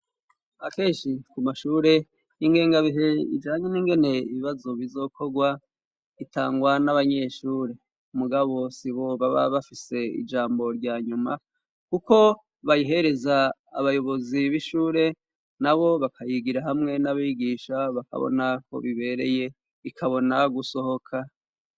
Akenshi ku mashure ,ingengabihe ijanye ningene ibibazo bizokorwa ,itangwa n'abanyeshure ,mugabo sibo baba bafise ijambo rya nyuma ,kuko bayihereza abayobozi b'ishure, na bo bakayigira hamwe n'abigisha bakabona ko bibereye ikabona gusohoka.